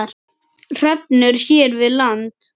Hrefnur hér við land